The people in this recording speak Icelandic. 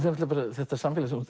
þetta samfélag sem þú